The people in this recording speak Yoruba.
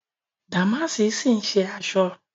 Dàmáàsì ń ṣì ṣe aṣọ